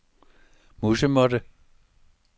musemåtte